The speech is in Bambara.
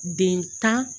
Den tan